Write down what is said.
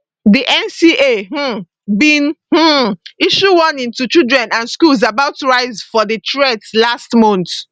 di nca um bin um issue warning to children and schools about rise for di threats last month